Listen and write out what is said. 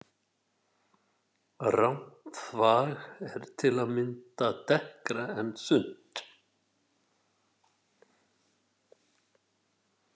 Rammt þvag er til að mynda dekkra en þunnt.